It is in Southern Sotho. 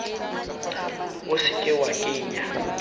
o se ke wa kenya